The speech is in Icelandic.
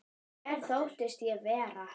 Hver þóttist ég vera?